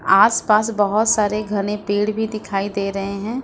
आस पास बहुत सारे घने पेड़ भी दिखाई दे रहे हैं।